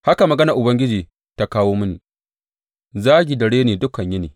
Haka maganar Ubangiji ta kawo mini zagi da reni dukan yini.